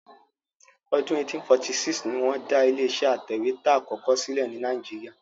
Ọdún 1846 ni wọ́n dá ilé-iṣẹ́ atẹ̀wétà àkọ́kọ́ sílẹ̀ ní Nàíjíríà.